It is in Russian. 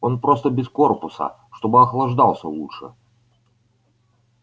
он просто без корпуса чтобы охлаждался лучше